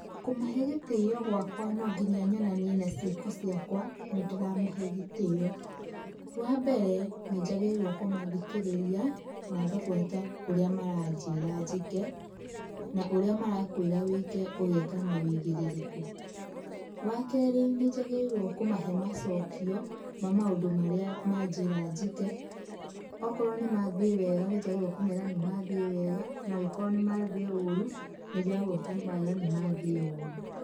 Kũmahe gĩtĩo gwakwa no ngĩnya nyonanie na ciĩko ciakwa, nĩ ndĩramahe gĩtĩo. Wambere nĩ njagĩrĩirwo kũmathikĩrĩria , na ngabuata ũrĩa maranjĩra njĩke na ũrĩa marakwĩra wĩke ũgeka na wũigĩrĩrĩkũ. Wa keerĩ nĩ njagĩrĩirwo kũmahe macokio ,na maũndũ marĩa ma njĩra njĩke. Okorwo nĩ mathĩe wega nĩ njagĩrĩirwo nĩ kũmeera nĩ mathĩe wega na angĩkorwo nĩ mathĩe ũrũ nĩ njagĩrĩirwo kũmera nĩ mathĩe ũrũ.